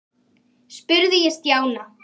spurði ég Stjána.